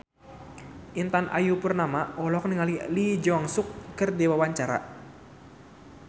Intan Ayu Purnama olohok ningali Lee Jeong Suk keur diwawancara